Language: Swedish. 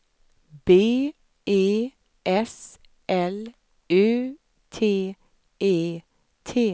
B E S L U T E T